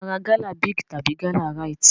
Ṣé o máa ra gala Big tàbí gala Rite?